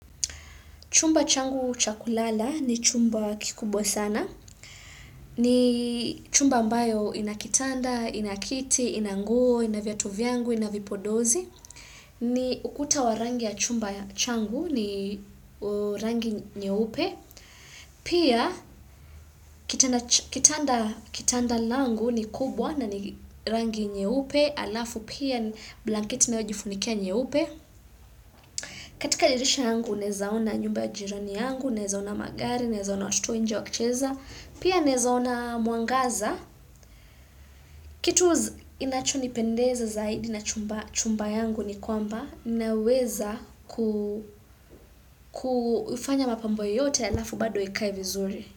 Chumba changu chakulala ni chumba kikubwa sana. Ni chumba mbayo inakitanda, inakiti, inanguo, ina viatu vyangu, ina vipodozi. Ni ukuta wa rangi ya chumba changu ni rangi nyeupe. Pia, kitanda langu ni kubwa na ni rangi nyeupe. hAlafu pia, blanketi ninayojifunikia nyeupe. Katika dirisha yangu, naezaona nyumba ya jirani yangu, naezaona magari, naezaona watoto nje wakicheza, pia naezaona mwangaza. Kitu inacho nipendeza zaidi na chumba yangu ni kwamba, naweza kufanya mapambo yoyote halafu bado ikae vizuri.